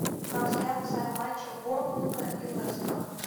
трансляция матча борнмута и лестера